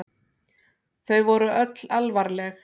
Þau voru öll alvarleg.